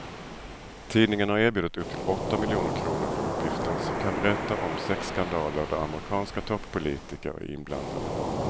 Tidningen har erbjudit upp till åtta miljoner kr för uppgifter som kan berätta om sexskandaler där amerikanska toppolitiker är inblandade.